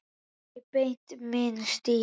Ekki beint minn stíll.